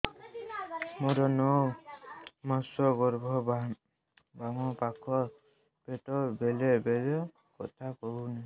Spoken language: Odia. ମୋର ନଅ ମାସ ଗର୍ଭ ବାମ ପାଖ ପେଟ ବେଳେ ବେଳେ ବଥା କରୁଛି